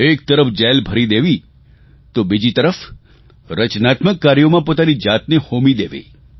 એક તરફ જેલ ભરી દેવી તો બીજી તરફ રચનાત્મક કાર્યોમાં પોતાની જાતને હોમી દેવી